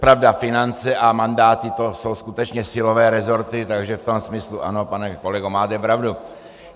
Pravda, finance a mandáty, to jsou skutečně silové rezorty, takže v tom smyslu ano, pane kolego, máte pravdu.